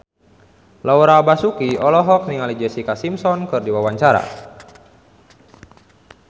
Laura Basuki olohok ningali Jessica Simpson keur diwawancara